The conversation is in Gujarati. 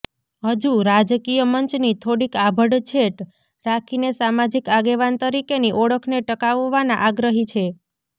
હજુ રાજકીય મંચની થોડીક આભડછેટ રાખીને સામાજિક આગેવાન તરીકેની ઓળખને ટકાવવાના આગ્રહી છે